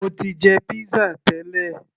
mo ti jẹ pizza tẹ́lẹ̀